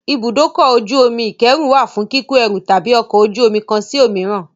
Ibùdókọ̀-ojú omi ìkẹ́rù wà fún kíko ẹrù láti ọkọ̀-ojú-omi kán sí òmíràn.